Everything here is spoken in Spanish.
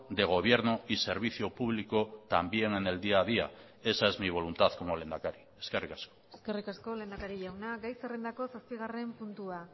de gobierno y servicio público también en el día a día esa es mi voluntad como lehendakari eskerrik asko eskerrik asko lehendakari jauna gai zerrendako zazpigarren puntua